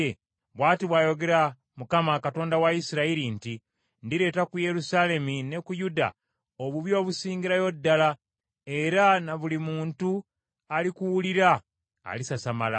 bw’ati bw’ayogera Mukama , Katonda wa Isirayiri nti, ‘Ndireeta ku Yerusaalemi ne ku Yuda obubi obusingirayo ddala, era na buli muntu alikiwulira, alisasamala.